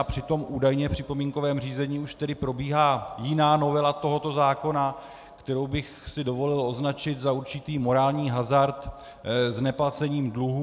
A přitom údajně v připomínkovém řízení už tedy probíhá jiná novela tohoto zákona, kterou bych si dovolil označit za určitý morální hazard s neplacením dluhů.